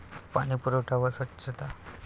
पाणीपुरवठा व स्वच्छता